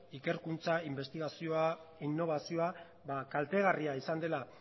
ikerkuntza inbestigazioa inobazioa kaltegarria izan dela